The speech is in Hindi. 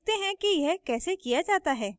देखते हैं कि यह कैसे किया जाता है